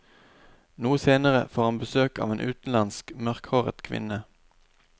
Noe senere får han besøk av en utenlandsk, mørkhåret kvinne.